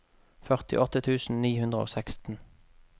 førtiåtte tusen ni hundre og seksten